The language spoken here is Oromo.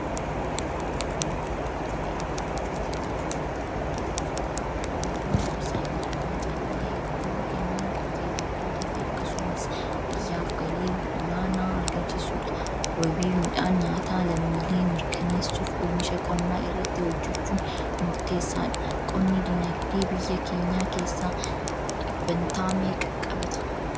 Asheeta Boqqolloo haala gaarii ta'een kunuunfamee sandaaboo baafatee jiru. Boqqolloon gosa midhaanii callaa hedduu kennuun qotee bultootaafi akkasumas biyyaaf galii olaanaa argamsiisudha. Wabii midhaan nyaataa lammiilee mirkaneessuuf oomisha qonnaa irratti hojjechuun murteessaadha. Qonni dinagdee biyya keenyaa keessaa dhibbantaa meeqa qabata?